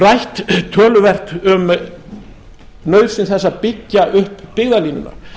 rætt töluvert um nauðsyn þess að byggja upp byggðalínuna